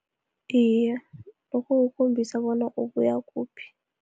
Iye, lokho kukhombisa bona ubuya kuphi.